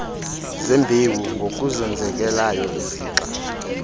zembewu ngokuzenzekelayo izixa